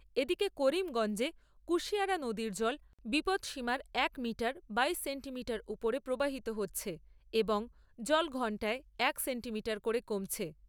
এদিকে করিমগঞ্জে কুশিয়ারা নদীর জল বিপদসীমার এক মিটার বাইশ সেন্টিমিটার উপরে প্রবাহিত হচ্ছে এবং জল ঘন্টায় এক সেন্টিমিটার করে কমছে।